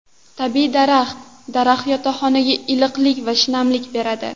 Tabiiy daraxt Daraxt yotoqxonaga iliqlik va shinamlik beradi.